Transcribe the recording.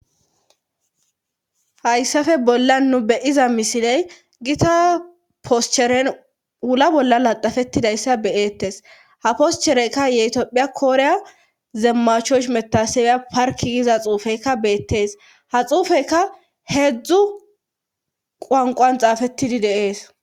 hayssafe bolla nu beyiza misiley gita poscheren wula bolla laxafettidayssa beyeettes ha poschereyka yetophiya kooreya zeemmachosh metasewya parki giza xuufeykka beettees ha xuufeykka heedzdzu quwankan xaafettidi de7es.